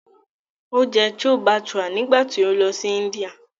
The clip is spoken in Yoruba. O jẹ Chole Bhature nígbà tí ó lọ sí Índíà